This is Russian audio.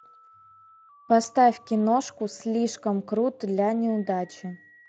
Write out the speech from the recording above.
поставь киношку слишком крут для неудачи